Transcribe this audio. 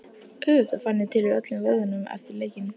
Auðvitað fann hann til í öllum vöðvum eftir leikinn.